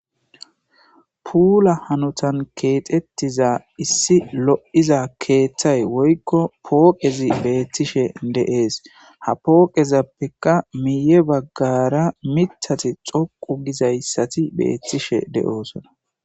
Puula hanutan keexettiza issi lo7iza keeththay woykko pooqezi beettishe deees ha pooqezappekka miye baggara mitati xoqu gizayssati beettishe de7oosona.